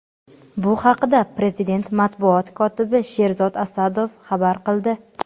Bu haqida prezident matbuot kotibi Sherzod Asadov xabar qildi.